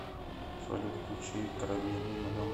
салют включи карамель мимо дома